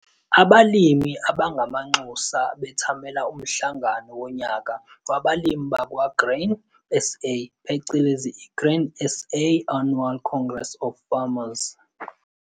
Abalimi abangamanxusa bethamela Umhlangano woNyaka wabalimi bakwa-Grain SA phecelezi i-Grain SA's Annual Congress of farmers.